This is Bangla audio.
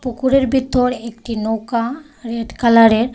পুকুরের ভিতর একটি নৌকা রেড কালারের.